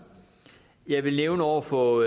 jeg vil nævne over for